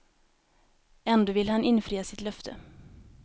Ändå ville han infria sitt löfte.